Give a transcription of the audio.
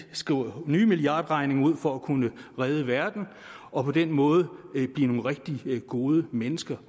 skriver nye milliardregninger ud for at kunne redde verden og på den måde blive nogle rigtig gode mennesker